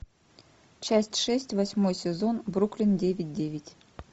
часть шесть восьмой сезон бруклин девять девять